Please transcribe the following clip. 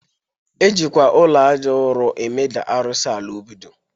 E jikwa ụlọ aja ụro emeda arụsị ala obi